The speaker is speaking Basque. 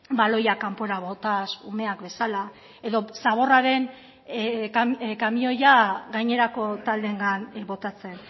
baloiak kanpora botaz umeak bezala edo zaborraren kamioia gainerako taldeengan botatzen